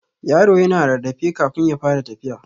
Yaro yana rarrafe kafun ya fara tafiya.